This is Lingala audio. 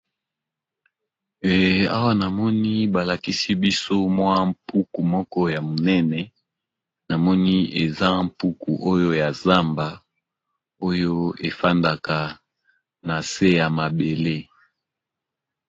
Awa na moni ba lakisi biso mwa mpuku moko ya monene, na moni eza mpuku oyo ya zamba oyo e fandaka na se ya mabele .